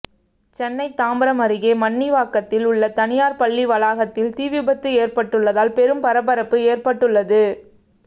சென்னை தாம்பரம் அருகே மண்ணிவாக்கத்தில் உள்ள தனியார் பள்ளி வளாகத்தில் தீ விபத்து ஏற்பட்டுள்ளதால் பெரும் பரபரப்பு ஏற்பட்டுள்ளது